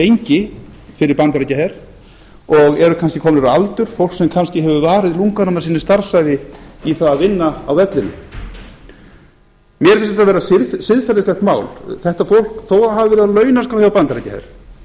lengi fyrir bandaríkjaher og eru kannski komnir á aldur fólk sem kannski hefur varið lunganum af sinni starfsævi í að vinna á vellinum mér finnst þetta vera siðferðislegt mál þetta fólk þó það hafi verið